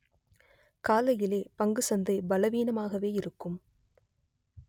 காலையிலே பங்கு சந்தை பலவீனமாகவே இருக்கும்